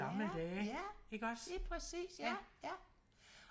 ja ja lige præcis ja